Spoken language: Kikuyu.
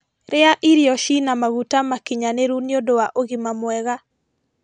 rĩa irio ciĩna maguta makinyaniru nĩũndũ wa ũgima mwega